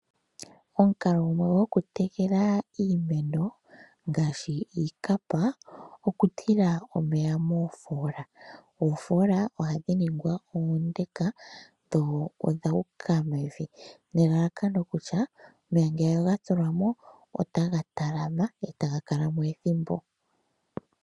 Omukalo gumwe gwokutekela iimeno ngaashi iikapa okutila omeya moofoola .Oofola ohadhi ningwa oonde dho odhu uka mevi nelalakano kutya omeya ngele oga tulwamo otaga talama e taga kalamo ethimbo.